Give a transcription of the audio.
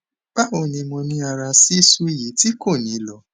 bawo ni mo niara sisu yi ti ko ni lọ